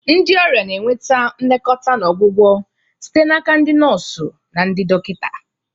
Ndị ọrịa na-enweta nlekọta na ọgwụgwọ site n'aka ndị nọọsụ na ndị dọkịta.